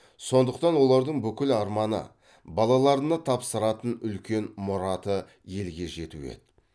сондықтан олардың бүкіл арманы балаларына тапсыратын үлкен мұраты елге жету еді